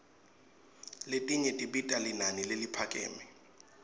letinye tibita linani leliphakeme